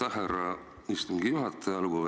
Aitäh, härra istungi juhataja!